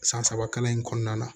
San saba kalan in kɔnɔna na